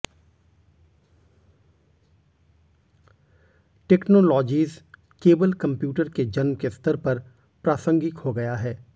technologies केवल computer के जन्म के स्तर पर प्रासंगिक हो गया है